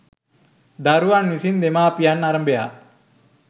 දරුවන් විසින් දෙමව්පියන් අරභයා